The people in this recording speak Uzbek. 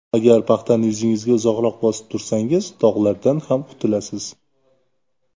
Agar paxtani yuzingizga uzoqroq bosib tursangiz dog‘lardan ham qutulasiz.